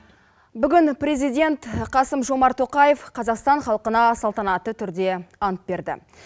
бүгін президент қасым жомарт тоқаев қазақстан халқына салтанатты түрде ант берді